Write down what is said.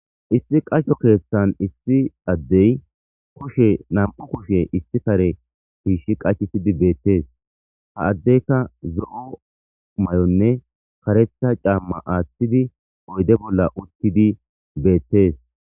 Issi qacho keeththan issi addey koshe nam'u koshe isti kare fiishi qachisidi beettees ha addeyka zo'o may'onne karetha caamma aaththidi oyde bolla uttidi beettees.